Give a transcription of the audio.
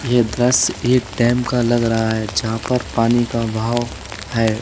यह दृश्य एक डेम का लग रहा है जहां पर पानी का बहाव है।